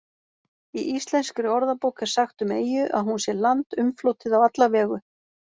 Í Íslenskri orðabók er sagt um eyju að hún sé land umflotið á alla vegu.